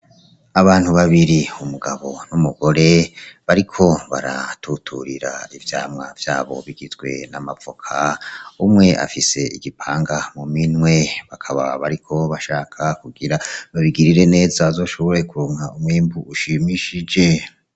Abantu babiri umugabo n'umugore bariko baratuturira ivyamwa vyabo bigizwe n'amavoka, umwe afise igipanga mu minwe, bakaba bariko bashaka kugira babigirire neza bashobore kuronka umwimbu ushimishije .